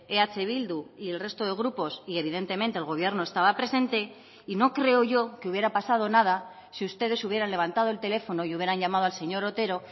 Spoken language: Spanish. eh bildu y el resto de grupos y evidentemente el gobierno estaba presente y no creo yo que hubiera pasado nada si ustedes hubieran levantado el teléfono y hubieran llamado al señor otero